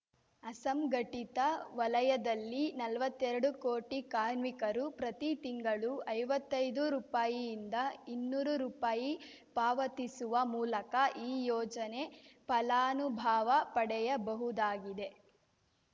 ಅಸಂಘಟಿತ ವಲಯದಲ್ಲಿ ನಲ್ವತ್ತೆರಡು ಕೋಟಿ ಕಾರ್ಮಿಕರು ಪ್ರತಿ ತಿಂಗಳು ಐವತ್ತೈದು ರುಪಾಯಿಯಿಂದ ಇನ್ನೂರು ರುಪಾಯಿ ಪಾವತಿಸುವ ಮೂಲಕ ಈ ಯೋಜನೆ ಫಲಾನುಭವ ಪಡೆಯಬಹುದಾಗಿದೆ